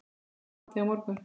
Komið eftir hádegi á morgun.